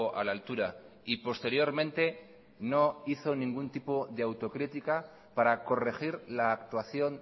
a la altura y posteriormente no hizo ningún tipo de autocrítica para corregir la actuación